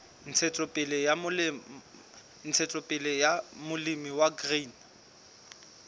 ntshetsopele ya molemi wa grain